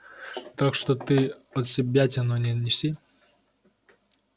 так что ты отсебятину не неси